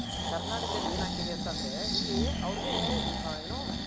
ಕರ್ನಾಟಕದಲ್ ಏನ್ ಆಗ್ತಿದೆ ಅಂತ ಅಂದ್ರೆ ಇಲ್ಲಿ ಅವರ್ಗೆ ಏನು.